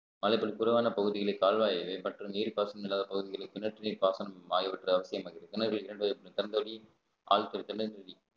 அதற்க்கு குறுவான பகுதிகளில் கால்வாய் மற்றும் நீர் பாசனம் இல்லாத பகுதிகளில் கிணற்று நீர் பாசனம் ஆகியவற்றை அவசியம் ஆகிறது கிணறு இரண்டு திறந்தவெளி ஆழ்துளை திறந்தவெளி